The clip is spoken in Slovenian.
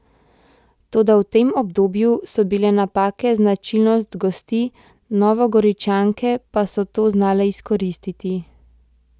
Toda v tem obdobju so bile napake značilnost gostij, Novogoričanke pa so to znale izkoristiti.